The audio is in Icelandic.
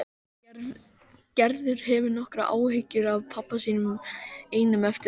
Gerður hefur nokkrar áhyggjur af pabba sínum einum eftir að